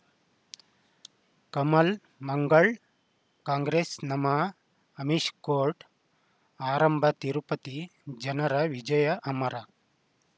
ಕಮಲ್ ಮಂಗಳ್ ಕಾಂಗ್ರೆಸ್ ನಮಃ ಅಮಿಷ್ ಕೋರ್ಟ್ ಆರಂಭ ತಿರುಪತಿ ಜನರ ವಿಜಯ ಅಮರ